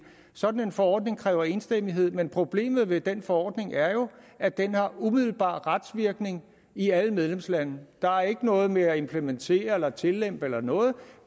sådan en forordning kræver enstemmighed men problemet ved den forordning er jo at den har umiddelbar retsvirkning i alle medlemslande der er ikke noget med at implementere eller tillempe eller noget